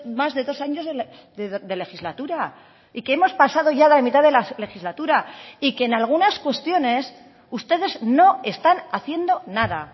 más de dos años de legislatura y que hemos pasado ya la mitad de la legislatura y que en algunas cuestiones ustedes no están haciendo nada